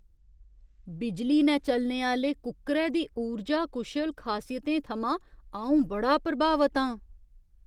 बिजली ने चलने आह्‌ले कुक्करै दी उर्जा कुशल खासियतें थमां अऊं बड़ा प्रभावत आं।